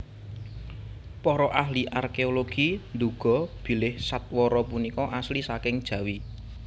Para ahli arkeologi nduga bilih sadwara punika asli saking Jawi